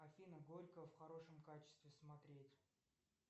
афина горько в хорошем качестве смотреть